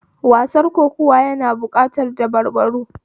Wasar kokuwa na bukatar dabarbaru